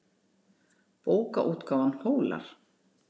Bókaútgáfan Hólar.